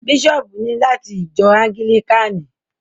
Bishop ni lati ìjọ anglikani.